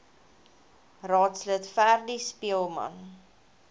raadslid freddie speelman